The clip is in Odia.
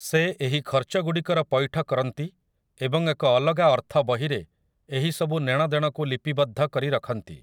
ସେ ଏହି ଖର୍ଚ୍ଚଗୁଡ଼ିକର ପୈଠ କରନ୍ତି ଏବଂ ଏକ ଅଲଗା ଅର୍ଥ ବହିରେ ଏହିସବୁ ନେଣଦେଣକୁ ଲିପିବଦ୍ଧ କରି ରଖନ୍ତି ।